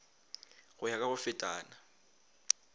go ya ka go fetana